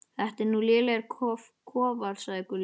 Þetta eru nú lélegir kofar, sagði Gulli.